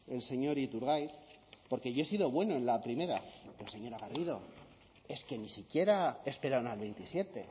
el señor iturgaiz porque yo he sido bueno en la primera pero señora garrido es que ni siquiera esperan al veintisiete